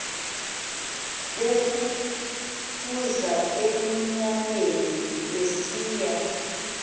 befukuza emnyameni besiya